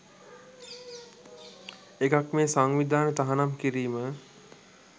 එකක් මේ සංවිධාන තහනම් කිරීම